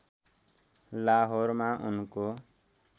लाहौरमा उनको